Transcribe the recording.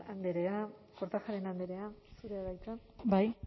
andrea kortajarena andrea zurea da hitza bai